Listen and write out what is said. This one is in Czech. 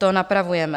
To napravujeme.